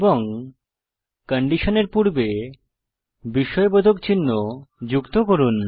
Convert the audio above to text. এবং কন্ডিশনের পূর্বে বিস্ময়বোধক চিহ্ন যুক্ত করুন